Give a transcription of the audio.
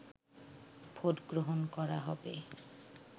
vote গ্রহণ করা হবে